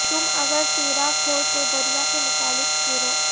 تم اگر تیراک ہو تو دریا کے مخالف تیرو